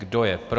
Kdo je pro?